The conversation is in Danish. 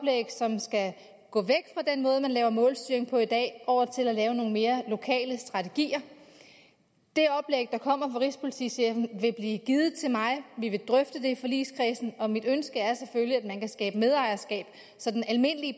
hvordan måde man laver målstyring på i dag og til at lave nogle mere lokale strategier det oplæg der kommer rigspolitichefen vil blive givet til mig vi vil drøfte i forligskredsen og mit ønske er selvfølgelig at man kan skabe medejerskab så den almindelige